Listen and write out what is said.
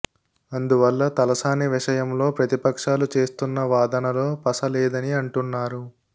అందువల్ల తలసాని విషయంలో ప్రతిపక్షాలు చేస్తున్న వాదనలో పస లేదని అంటున్నారు